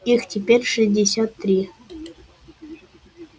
их теперь шестьдесят три